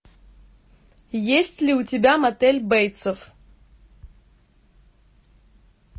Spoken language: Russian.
есть ли у тебя мотель бейтсов